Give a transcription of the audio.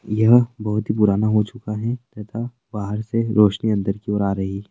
यह बहुत ही पुराना हो चुका है तथा बाहर से रोसनी अंदर की ओर आ रही--